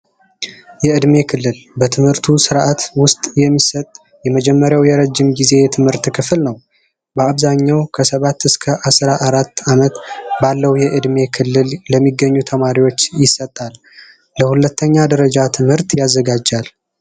የእድሜ ክልል በትምህርቱ ስርዓት ውስጥ የሚሰጥ የመጀመሪያው የረጅም ጊዜ የትምህርት ክፍል ነው። በአብዛኛው ከሰባት እስከ አስራአራት አመት ባለው የዕድሜ ክልል ለሚገኙ ተማሪዎች ይሰጣል። ለሁለተኛ ደረጃ ትምህርት ያዘጋጃል።